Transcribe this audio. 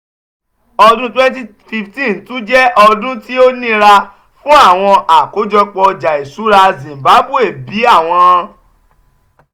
ọdun cs] twenty fifteen tun jẹ ọdun ti o nira fun awọn akojopo ọja iṣura zimbabwe bi awọn